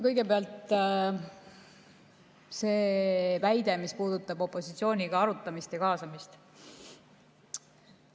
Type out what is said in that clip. Kõigepealt see väide, mis puudutas opositsiooniga arutamist ja tema kaasamist.